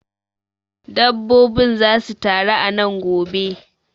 Dabbobin zasu taru a nan gobe.